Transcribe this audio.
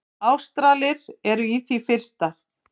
Ástralar eru í því fyrsta.